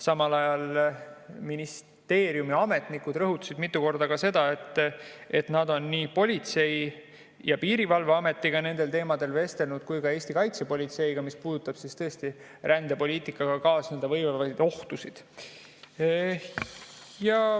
Samal ajal rõhutasid ministeeriumi ametnikud mitu korda, et nad on nendel teemadel vestelnud nii Politsei‑ ja Piirivalveametiga kui ka kaitsepolitseiga, see puudutab rändepoliitikaga kaasneda võivaid ohtusid.